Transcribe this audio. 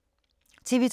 TV 2